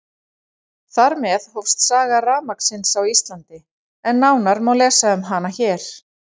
Þar með hófst saga rafmagnsins á Íslandi, en nánar má lesa um hana hér.